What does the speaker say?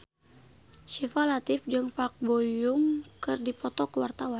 Syifa Latief jeung Park Bo Yung keur dipoto ku wartawan